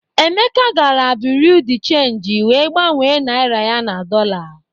Emeka gara buriu di chenji wee gbanwee naịra ya na dọla.